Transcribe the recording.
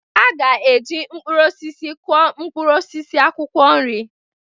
Ha ga-eji mkpụrụ osisi kụọ mkpụrụ osisi akwụkwọ nri.